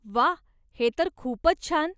वा.. हे तर खूपच छान!